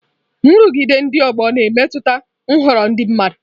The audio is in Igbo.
Nrụgide ndị ọgbọ na-emetụta nhọrọ ndị mmadụ.